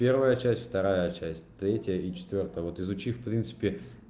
первая часть вторая часть третья и четвёртая вот изучив в принципе